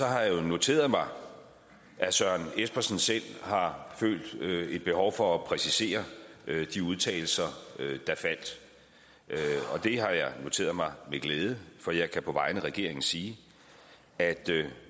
har jeg jo noteret mig at søren espersen selv har følt et behov for at præcisere de udtalelser der faldt det har jeg noteret mig med glæde for jeg kan på vegne af regeringen sige at